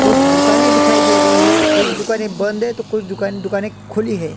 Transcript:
कुछ दुकाने दिखाई दे रही है कुछ दुकाने बंद है तो कुछ दुकान दुकाने खुली है।